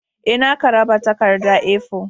Ee, na karaba takarda A4.